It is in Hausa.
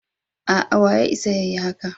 A'a, wa ya isa ya yi haka.